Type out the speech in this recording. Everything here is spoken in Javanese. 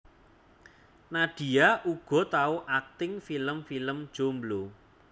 Nadia uga tau akting film film Jomblo